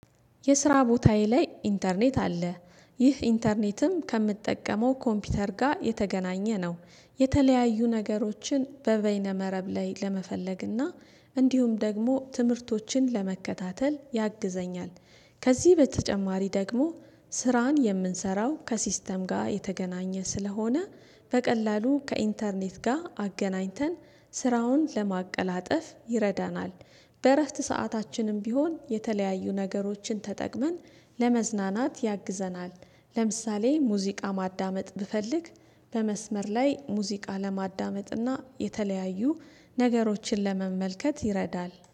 የስራ ቦታዬ ላይ ኢንተርኔት አለ ይህ ኢንተርኔትም ከምጠቀመው ኮምፒውተር ጋር የተገናኘ ነው። የተለያዩ ነገሮችን በበይነ መረብ ላይ ለመፈለግና እንዲሁም ደግሞ ትምህርቶችን ለመከታተል ያግዘኛል። ከዚህ በተጨማሪ ደግሞ ስራን የምንሰራው ከሲስተም ጋር የተገናኘ ስለሆነ በቀላሉ ከኢንተርኔት ጋር አገናኝተን ስራውን ለማቀላጠፍ ይረዳናል። በእረፍት ሰአታችንም ቢሆን የተለያዩ ነገሮችን ተጠቅመን ለመዝናናት ያግዘናል። ለምሳሌ ሙዚቃ ማዳመጥ ብፈልግ በመስመር ላይ ሙዚቃ ለማዳመጥና የተለያዩ ነገሮችን ለመመልከት ይረዳል።